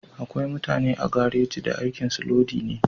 Akwai mutane a garaji da aikin su lodi ne